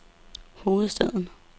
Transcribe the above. hovedstaden